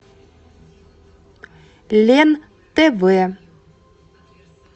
лен тв